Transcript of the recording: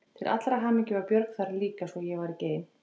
Til allrar hamingju var Björg líka þarna svo ég var ekki ein.